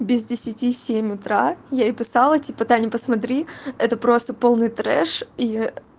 без десяти семь утра я ей писала типа таня посмотри это просто полный трэш и